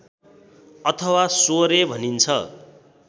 अथवा स्वरे भनिन्छ